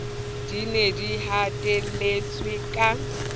di ne di hatelletswe ka